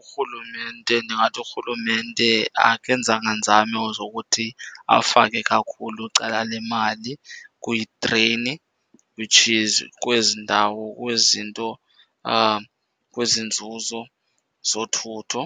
Urhulumente ndingathi urhulumente akenzanga nzame zokuthi afake kakhulu cala lemali kwitreyini, which is kwezi ndawo, kwezinto , kwezi nzuzo zothutho.